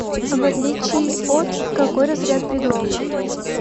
в отличие от какой разряд предлога